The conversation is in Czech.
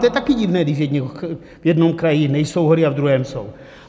To je taky divné, když v jednom kraji nejsou hory a ve druhém jsou.